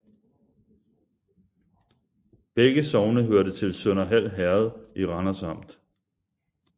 Begge sogne hørte til Sønderhald Herred i Randers Amt